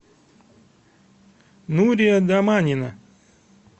нурия доманина